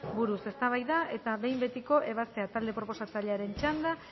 buruz eztabaida eta behin betiko ebazpena talde proposatzailearen txanda